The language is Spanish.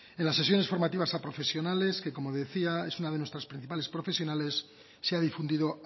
en las sesiones formativas a profesionales que como decía es una de nuestras principales profesionales se ha difundido